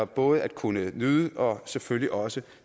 både at kunne nyde og selvfølgelig også